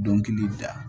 Dɔnkili da